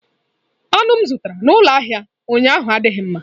Anụ m zụtara n'ụlọ ahịa ụnyaahụ adịghị mma.